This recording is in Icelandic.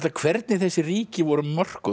hvernig þessi ríki voru mörkuð og